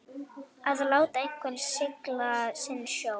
Að láta einhvern sigla sinn sjó